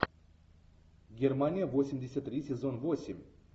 германия восемьдесят три сезон восемь